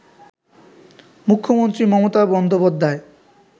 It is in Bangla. মুখ্যমন্ত্রী মমতা বন্দ্যোপাধ্যায়